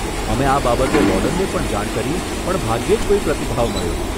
અમે આ બાબતે વોર્ડનને પણ જાણ કરી પણ ભાગ્યે જ કોઈ પ્રતિભાવ મળ્યો.